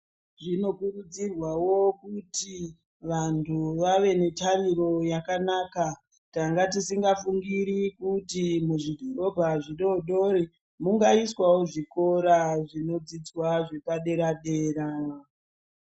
Zvinokurudzirwawo kuti vanhu vave netariro yakanaka. Tanga tisingafungiri kuti muzvidhorobha zvidoodori mungaiswawo zvikora zvinodzidzwa zvepadera-dera .